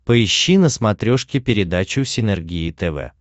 поищи на смотрешке передачу синергия тв